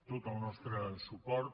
tot el nostre suport